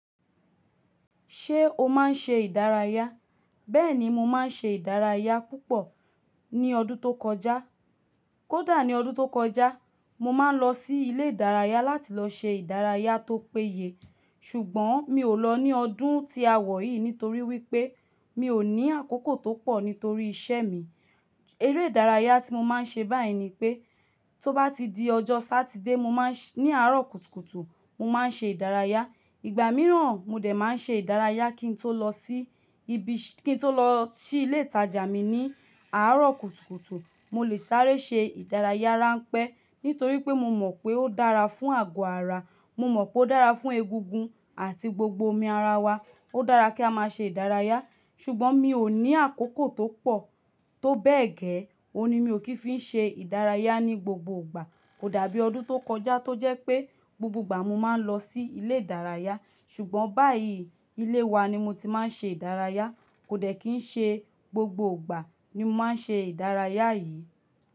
Ṣé o máa ń ṣe ìdárayá? Bẹ́ẹ̀ni mo máa ń ṣe ìdárayá púpọ̀ ní ọdún tó kọjá. Kódà ní ọdún tó kọjá, mo máa ń lọ sí ilé ìdárayá láti lọ ṣe ìdárayá tó péye. Ṣùgbọ́n mi ò lọ ní ọdún tí a wọ̀ yìí nítorí wípé mi ò ní àkókò tó pọ̀ nítorí iṣẹ́ mi. Eré ìdárayá tí mo máa ń ṣe báyìí ni pé, tó bá ti di ọjọ́ Satide, mo máa ń ṣ-- ní àárọ̀ kùtùkùtù mo máa ń ṣe ìdárayá. Ìgbà mìíràn, mo dẹ̀ máa ń ṣe ìdárayá kí n tó lọ sí ibi-- kí n tó lọ sí ilé ìtajà mi ní àárọ̀ kùtùkùtù. Mo lè sáré ṣe ìdárayá ránpẹ́ nítorí pé mo mọ̀ pé ó dára fún àgọ́ ara. Mo mọ̀ pé ó dára fún egungun àti gbogbo omi ara wa. Ó dára kí a máa ṣe ìdárayá. Ṣùgbọ́n mi ò ní àkókò tó pọ̀, tó bẹ́ẹ̀ gẹ́, òun ni mi ò kí ń fi ṣe ìdárayá ní gbogbo ìgbà. Kò dàbí ọdún tó kọjá tó jẹ́ pé gbogbo ìgbà mo máa ń lọ sí ilé ìdárayá. Ṣùgbọ́n báyìí ilé wa ni mo ti máa ń ṣe ìdárayá. Kò dẹ̀ kí ń ṣe gbogbo ìgbà ni mo máa ń ṣe ìdárayá yìí.